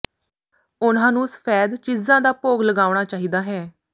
ਉਨ੍ਹਾਂ ਨੂੰ ਸਫੈਦ ਚੀਜ਼ਾਂ ਦਾ ਭੋਗ ਲਗਾਉਣਾ ਚਾਹੀਦਾ ਹੈ